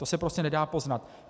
To se prostě nedá poznat.